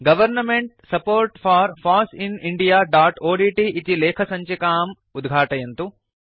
government support for foss in indiaओड्ट् इति लेखसञ्चिकाम् उद्घाटयन्तु